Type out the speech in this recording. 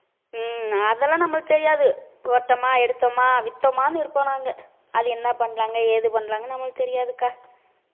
ஹம் அதெல்லாம் நம்மளுக்குத் தெரியாது போட்டோமா எடுத்தோமா வித்தோமான்னு இருப்போம் நாங்க அது என்ன பண்றாங்க ஏது பண்றாங்கன்னு நம்மளுக்குத் தெரியாதுக்கா